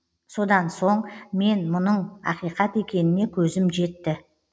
содан соң мен мұның ақиқат екеніне көзім жетті